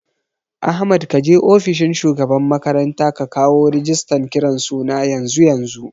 Ahmad kaje ofishin shugaban makaranta ka kawo rigistan kiran suna yanzu yanzu